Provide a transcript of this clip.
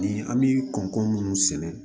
Ni an bi kɔn mun sɛnɛ